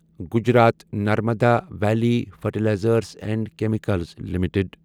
Gujarat Narmada valley fertilizers and chemicals limited